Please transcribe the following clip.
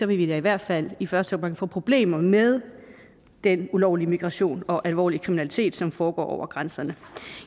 vi da i hvert fald i første omgang få problemer med den ulovlige migration og alvorlige kriminalitet som foregår over grænserne